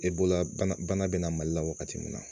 E bololabana bana bɛ na mali la wagati min na